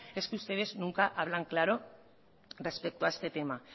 es que ustedes nunca hablan claro respecto a este tema